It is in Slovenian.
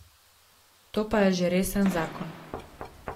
To je pa že resen zakon.